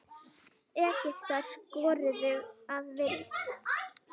Egyptar skoruðu að vild.